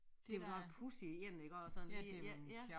Det var da en pudsig én iggå og sådan lige ja ja